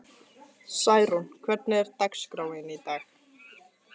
Særún, hvernig er dagskráin í dag?